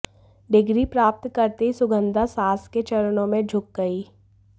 degree प्राप्त करते ही सुगन्धा सास के चरणों में झुक गयी